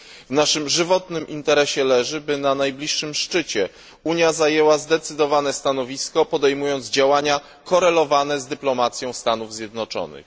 W naszym żywotnym interesie leży, by na najbliższym szczycie Unia zajęła zdecydowane stanowisko, podejmując działania korelowane z dyplomacją Stanów Zjednoczonych.